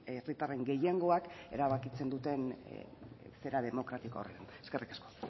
herritarren gehiengoak erabakitzen duten zera demokratiko horretan eskerrik asko